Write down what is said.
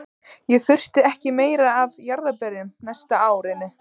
Ég þurfti ekki meira af jarðarberjum næstu árin.